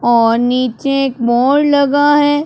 और नीचे एक बोर्ड लगा है।